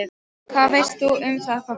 Hvað veist þú um það, pabbi?